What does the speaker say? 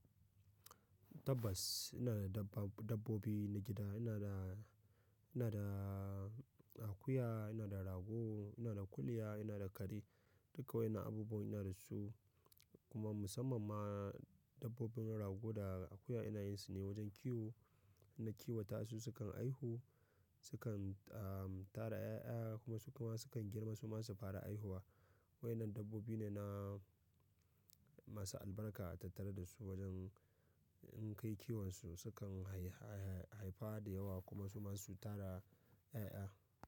Dabbas ina da dabbab-dabbobi na gida, ina da, ina da akuya, ina da rago, ina da kuliya, ina da kare. Duka waƴannan abubuwa ina da su, kuma musamman ma dabbobin rago da akuya ina yin su ne wajen kiwo. In na kiwata su suka aihu, sukan tara ƴaƴa, kuma su kuma sukan girma suma su fara aihuwa. Waƴannan dabbobi ne na masu albarka, a tattare da su wajen in kai kiwonsu sukan hai-hai-hai-haifa da yawa kuma su ma su tara ƴaƴa.